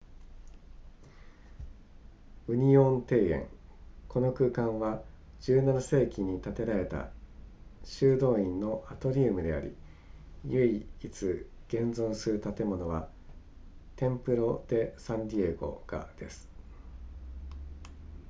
ウニオン庭園この空間は17世紀に建てられた修道院のアトリウムであり唯一現存する建物はテンプロデサンディエゴがです